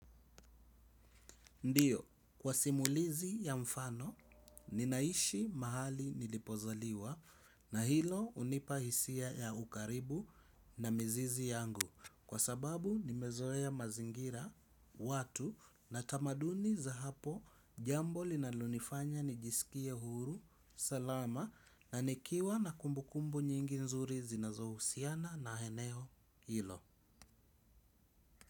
Ndiyo kwa simulizi ya mfano ninaishi mahali nilipozaliwa na hilo hunipa hisia ya ukaribu na mizizi yangu kwa sababu nimezoea mazingira watu na tamaduni za hapo jambo linalonifanya nijisikie huru salama na nikiwa na kumbukumbu nyingi nzuri zinazo husiana na eneo hilo.